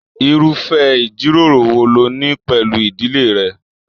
Irufẹ ijiroro wò ló ní pẹlú ìdílé rẹ?